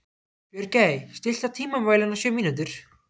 Björgey, stilltu tímamælinn á sjö mínútur.